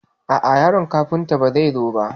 A'a yaron Kafuntan ba zai zo ba.